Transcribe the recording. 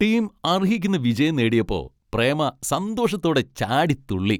Team അർഹിക്കുന്ന വിജയം നേടിയപ്പോ, പ്രേമ സന്തോഷത്തോടെ ചാടിത്തുള്ളി.